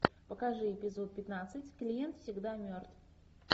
покажи эпизод пятнадцать клиент всегда мертв